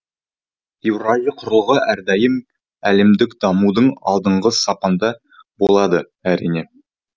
еуразия құрлығы әрдайым әлемдік дамудың алдыңғы сапында болады әрине